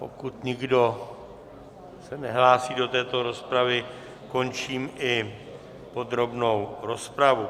Pokud nikdo se nehlásí do této rozpravy, končím i podrobnou rozpravu.